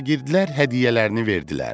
Şagirdlər hədiyyələrini verdilər.